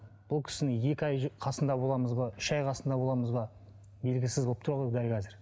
бұл кісіні екі ай қасында боламыз ба үш ай қасында боламыз ба белгісіз болып тұр ғой дәл қазір